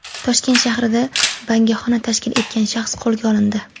Toshkent shahrida bangixona tashkil etgan shaxs qo‘lga olindi.